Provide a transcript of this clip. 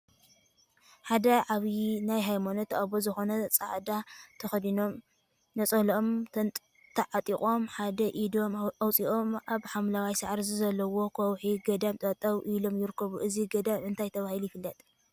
ሓደ ዓብይ ናይ ሃይማኖት አቦ ዝኮኑ ፃዕዳ ተከዲኖም ነፀልኦም ተዓጢቆምን ሓደ ኢዶም አውፂኦም አብ ሓምለዋይ ሳዕሪ ዘለዎ ከውሒ ገዳም ጠጠው ኢሎም ይርከቡ፡፡ እዚ ገዳም እንታይ ተባሂሉ ይፍለጥ፡፡